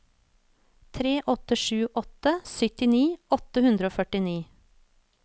tre åtte sju åtte syttini åtte hundre og førtini